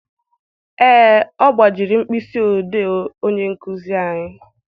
Ee, ọ gbajiri mkpịsị odee onye nkuzi anyị.